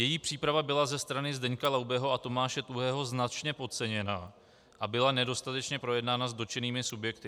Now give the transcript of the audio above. Její příprava byla ze strany Zdeňka Laubeho a Tomáše Tuhého značně podceněna a byla nedostatečně projednána s dotčenými subjekty.